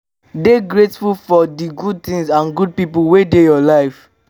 dey grateful for di good things and good pipo wey dey your life